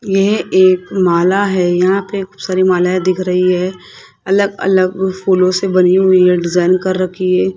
यह एक माला है यहां पे खूब सारी मालाएं दिख रही है अलग अलग फूलों से बनी हुई है डिजाइन कर रखी है।